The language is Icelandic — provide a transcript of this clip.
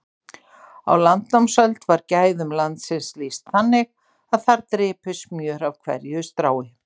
Á landnámsöld var gæðum landsins lýst þannig að þar drypi smjör af hverju strái.